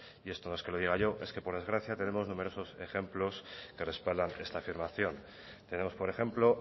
y esto no es que lo diga yo es que por desgracia tenemos numerosos ejemplos que respaldan esta afirmación tenemos por ejemplo